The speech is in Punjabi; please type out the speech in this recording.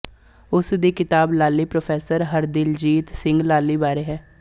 ੳਸ ਦੀ ਕਿਤਾਬ ਲਾਲੀ ਪ੍ਰੋਫ਼ੈਸਰ ਹਰਦਿਲਜੀਤ ਸਿੰਘ ਲਾਲੀ ਬਾਰੇ ਹੈ